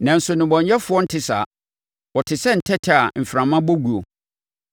Nanso nnebɔneyɛfoɔ nte saa; wɔte sɛ ntɛtɛ a mframa bɔ guo.